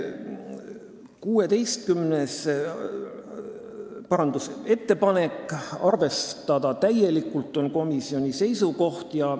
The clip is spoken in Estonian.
16. parandusettepanek, komisjoni seisukoht on arvestada täielikult.